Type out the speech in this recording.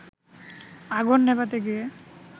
আগুন নেভাতে গিয়ে